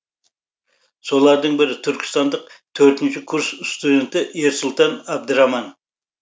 солардың бірі түркістандық төртінші курс студенті ерсұлтан әбдіраман